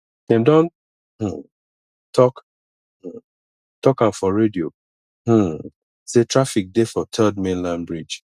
dem don um tok um tok am for radio um sey traffic dey for third mainland bridge